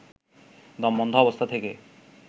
দমবন্ধ অবস্থা থেকে